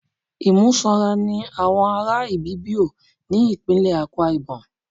Imú sanra ni àwọn ará Ibibio, ní ìpínlè Akwa Íbọ́mù.